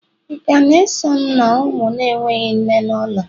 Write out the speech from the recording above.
Ị ka na-eso m na ụmụ na-enweghị nne n'ụlọ?